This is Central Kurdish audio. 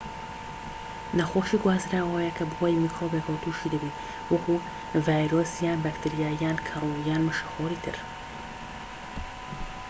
نەخۆشیی گوازراوە ئەوەیە کە بەهۆی میکرۆبێکەوە توشی دەبین وەکو ڤایرۆس یان بەکتریا یان کەروو یان مشەخۆری تر